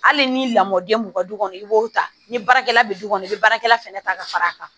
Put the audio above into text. Hali ni lamɔden b'u ka du kɔnɔ i b'o ta ni baarakɛla bɛ du kɔnɔ i bɛ baarakɛla fɛnɛ ta ka fara a kan